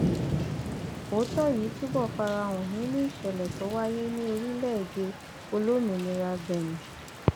òótọ yìí túbọ fara hàn nínú ìṣẹlẹ tó wáyé ní orílẹèdè olómìnira benin